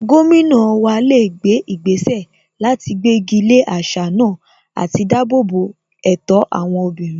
Gómìnà wa lè gbé ìgbésẹ̀ láti gbégi lé àṣà náà àti dáàbò bo ẹ̀tọ́ àwọn obìnrin